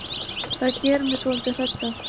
Það gerir mig svolítið hrædda.